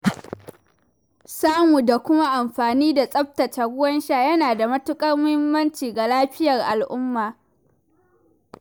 Samu da kuma amfani da tsaftataccen ruwan sha yana da matuƙar muhimmanci ga lafiyar al’umma.